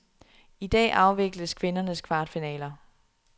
I dag afvikles kvindernes kvartfinaler.